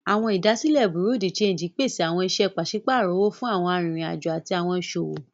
Awọn idasile Bureau de change pese awọn iṣẹ paṣipaarọ owo fun awọn aririn ajo ati awọn iṣowo.